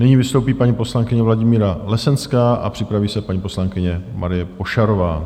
Nyní vystoupí paní poslankyně Vladimíra Lesenská a připraví se paní poslankyně Marie Pošarová.